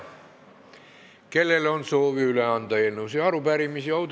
Kellel on soovi üle anda eelnõusid ja arupärimisi?